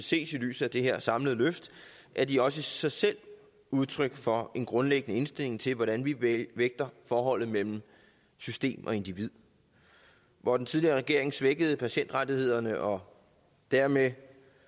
ses i lyset af det her samlede løft er de også i sig selv udtryk for en grundlæggende indstilling til hvordan vi vægter forholdet mellem system og individ hvor den tidligere regering svækkede patientrettighederne og dermed